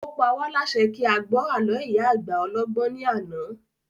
Ó pa wá lásẹ kí a gbọ́ àló ìyá àgbà ọlọ́gbọ́n ní àná